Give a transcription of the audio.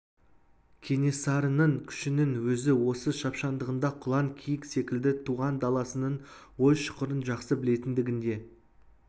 кенесарының күшінің өзі осы шапшаңдығында құлан киік секілді туған даласының ой-шұқырын жақсы білетіндігінде